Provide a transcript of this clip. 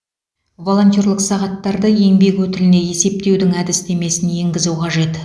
волонтерлық сағаттарды еңбек өтіліне есептеудің әдістемесін енгізу қажет